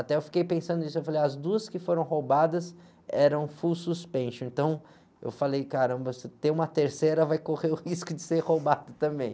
Até eu fiquei pensando nisso, eu falei, as duas que foram roubadas eram full suspension, então eu falei, caramba, se tem uma terceira vai correr o risco de ser roubada também.